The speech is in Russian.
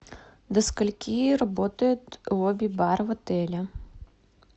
до скольки работает лобби бар в отеле